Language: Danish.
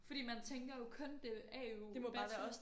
Fordi man tænker jo kun det er AU bachelor